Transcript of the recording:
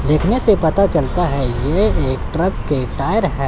देखने से पता चलता है ये एक ट्रक के टायर है।